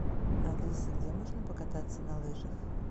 алиса где можно покататься на лыжах